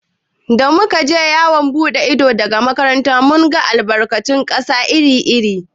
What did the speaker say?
Da muka je yawon buɗe ido daga makarantar mu, mun ga albarkatun ƙasa iri iri.